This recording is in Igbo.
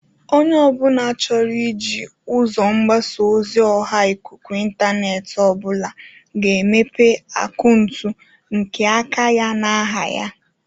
Onye ọbụla chọrọ iji ụzọ mgbasa ozi ọha ikuku intaneeti obụla ga-emepe akauntụ nke aka ya n'aha ya.